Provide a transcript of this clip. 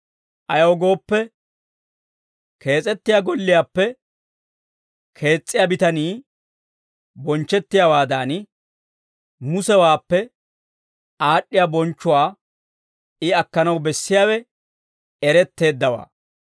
Ayaw gooppe, kees'ettiyaa golliyaappe kees's'iyaa bitanii bonchchettiyaawaadan, Musewaappe aad'd'iyaa bonchchuwaa I akkanaw bessiyaawe eretteeddawaa.